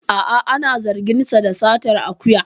A'a ana zargin sa da satar akuya